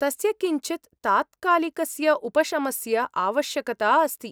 तस्य किञ्चित् तात्कालिकस्य उपशमस्य आवश्यकता अस्ति।